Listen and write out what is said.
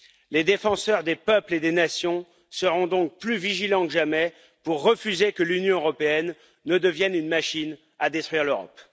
Les défenseurs des peuples et des nations seront donc plus vigilants que jamais pour refuser que l'Union européenne ne devienne une machine à détruire l'Europe.